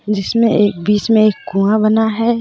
जिसमें एक बीच में एक कुआं बना हैं.